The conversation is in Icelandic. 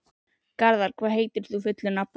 Garðar, hvað heitir þú fullu nafni?